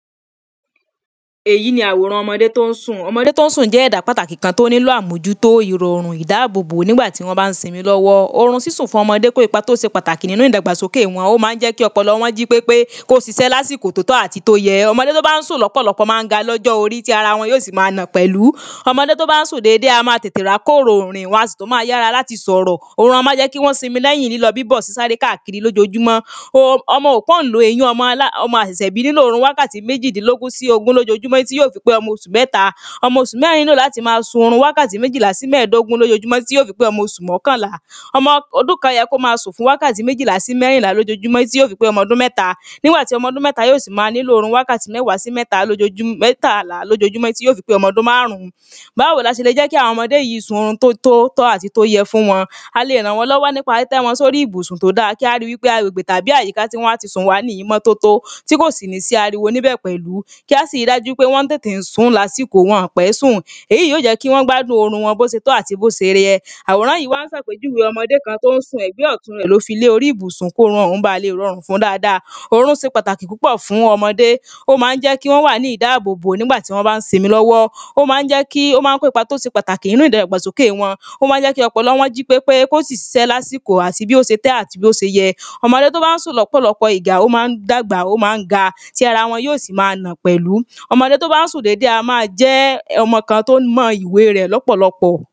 Èyí ni àwòrán ọmọdé tí ó ń sùn, ọmọdé tí ó ń sùn jẹ́ ẹ̀dá pàtàkì kan tó nílò ámójútó, ìrọ̀rùn, ìdáàbòbò, nígbà tí wọ́n bá ń simi lọ́wọ́, orun sísùn fún ọmọdé kó ipa tí ó se pàtàkì nínu ìdàgbàsókè wọn, ó ma ń jẹ́ kí ọpọlọ wọn jí pépé, kí ó ṣiṣẹ́ lásìkò tí ó tọ́ àti tí ó yẹ ọmọdé tí ó bá ń sùn lọ́pọ̀lọpọ̀ ma ń ga lọ́jọ́ orí, tí ara wọn sí ma nà pẹ̀lú, ọmọdé tó bá ń sùn dédé, á ma tètè rá kòrò rìn, wọn a sì tún ma yára láti sọ̀rọ̀ orun á ma jẹ́ kí wọ́n simi lẹ́yìn lílọ, bíbọ̀, sí sáré káàkiri lójojúmọ́ ọmọ asẹ̀sẹ̀ bí, nílò orun wákàtí méjìdínlógún sí ogún lójojúmọ́ tí yó fi pé ọmọ oṣù mẹ́ta, ọmọ oṣù mẹ́rin nílò láti ma sun orun wákàtí méjìlá sí mẹ́rìndínlógún lójojúmọ́ tí yó fi pé ọmọ oṣù mọ́kànlá, ọmọ ọdún kan yẹ kí ó ma sùn fún wákàtí méjìlá sí mẹ́rìnlá lójojúmọ́ tí yó fi pé omo odún mẹ́ta nigbà tí ọmọ ọdún mẹ́ta yó sì ma nílò orun wákàtí méwàá sí mẹ́ta lójo, mẹ́tàlá lójojúmọ́ tí yó fi pé ọmọ ọdún máàrún, báwo ni a se lè jẹ́ kí àwọn ọmọdé yi sun orun tó tó, tọ́ àti tó yẹ fún wọn, a le rán wọ́n lọ́wọ́ nípa títẹ́ wọn sí orí ibùsùn tó da, kí a ri wípé agbègbè tàbí àyíká tí wọ́n á ti sùn, wáà ní ìmọ́tótó, tí kò sì ní sí ariwo níbẹ̀ pẹ̀lú, kí a sì ri dájú pé wọ́n tètè múra sí àsìkò, wọn ò pé sùn, èyí ó jẹ́ kí wọ́n gbádùn orun wọn, bó se tọ́ àti bí ó se yẹ àwòrán yìí wá ń se àpèjúwe ọmọdé kan, ti ó ń sùn, ẹ̀gbẹ́ ọ̀tún rẹ ni ó fi lé orí ibùsùn, kí orun òun bà le rọrùn fún dáada, orun se pàtàkì púpọ̀ fún ọmọdé, ó ma ń jẹ́ kí wọ́n wà ní ìdábòbò nígbàtí wọ́n bá ń simi lọ́wọ́, ó ma n jẹ́ kí, ó ma ń kó ipa tó se pàtàkì nínu ìdàgbàsókè wọn, ó ma ń jẹ́ kí ọpọlọ wọn jí pépé, kí ó sì ṣiṣẹ́ ní àsìkò bó titọ́ àti bí ó ti yẹ, ọmọdé tí ó bá ń sùn ní ọ̀pọ̀lọpọ̀ ìgbà, ó ma ń dàgbà, ó ma ń ga, tí arawọn ó sì ma nà pẹ̀lú, ọmọ tí ó ń sùn dédé, á ma jẹ́ ọmọ kan tí ó mọ ìwé rẹ̀ lọ̀pọ̀lọpọ̀